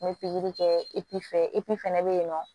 N ye pikiri kɛ epi fɛ fana bɛ yen nɔ